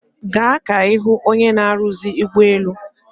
Gaa ka ihu onye na-aruzi ugboelu